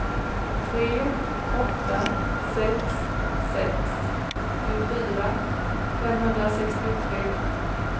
tre åtta sex sex åttiofyra femhundrasextiotre